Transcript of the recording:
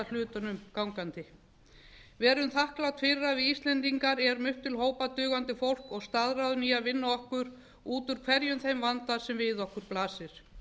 hlutunum gangandi verum þakklát fyrir að við íslendingar erum upp til hópa dugandi fólk og staðráðin í að vinna okkur út úr hverjum þeim vanda sem við okkur blasir